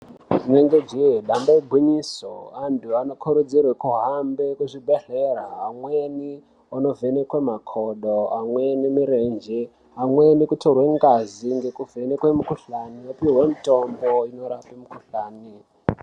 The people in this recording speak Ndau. Inenge jee dambe igwinyiso antu anokurudzirwe kuhambe kuzvibhedhlera amweni anovhekwe makodo amweni murenje amweni kutorwe ngazi ngekuvhenekwe mikuhlani ngekupihwe mutombo unorape mukuhlani.